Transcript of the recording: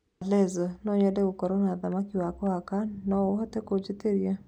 aleza no nyende gũkorwo na thamaki wa kuhaka no uhote kunjĩĩtiria